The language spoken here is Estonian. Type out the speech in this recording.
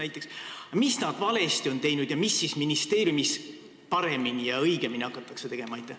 Aga mida nad valesti on teinud ning mida siis ministeeriumis paremini ja õigemini hakatakse tegema?